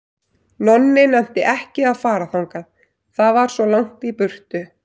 Nonni nennti ekki að fara þangað, það var svo langt í burtu.